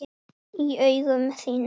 Í augum þínum.